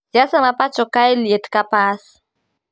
Siasa ma pacho kae liet ka pas